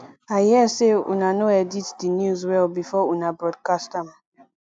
i hear say una no edit the news well before una broadcast am